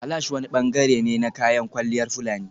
Kalash wani bangare ne na kayan kwalliyar fulani